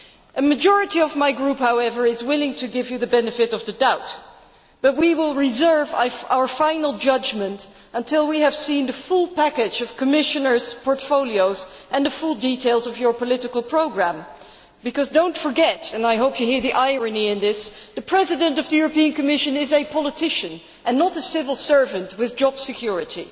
A majority of my group, however, is willing to give you the benefit of the doubt, but we will reserve our final judgment until we have seen the full package of commissioners' portfolios and the full details of your political programme, because do not forget, and I hope you hear the irony in this, that the President of the European Commission is a politician, and not a civil servant with job security.